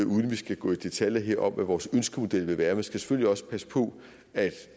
uden at vi skal gå i detaljer her om hvad vores ønskemodel ville være så skal man selvfølgelig også passe på at